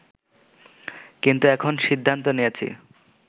কিন্তু এখন সিদ্ধান্ত নিয়েছি